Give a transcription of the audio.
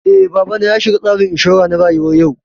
Eh, babana ya shiga tsarin inshura na rayuwa yau